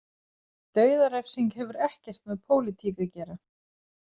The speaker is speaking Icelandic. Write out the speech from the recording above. Dauðarefsing hefur ekkert með pólitík að gera.